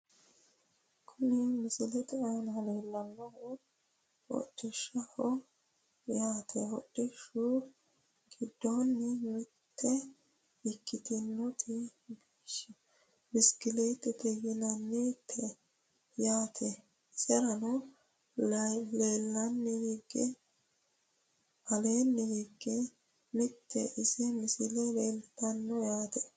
Kuni misilete aana leellannohu hodhishshaho yaate hodhishshu giddonnino mitte ikkitinoti bishikiliitete yinani te yaate, iserano aleenni hige mitte ise misile leeltanno yaate.